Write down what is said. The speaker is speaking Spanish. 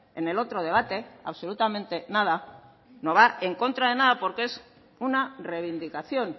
en el otro debate absolutamente nada no va en contra de nada porque es una reivindicación